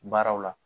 Baaraw la